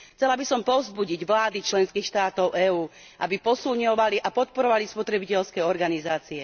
Chcela by som povzbudiť vlády členských štátov EÚ, aby posilňovali a podporovali spotrebiteľské organizácie.